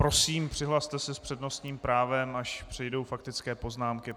Prosím, přihlaste se s přednostním právem, až přejdou faktické poznámky.